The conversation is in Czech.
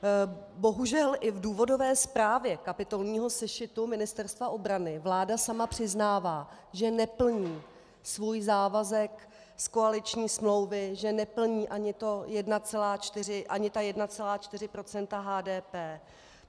Bohužel i v důvodové zprávě kapitolního sešitu Ministerstva obrany vláda sama přiznává, že neplní svůj závazek z koaliční smlouvy, že neplní ani 1,4 % HDP.